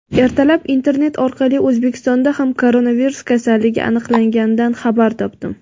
Ertalab internet orqali O‘zbekistonda ham koronavirus kasalligi aniqlanganidan xabar topdim.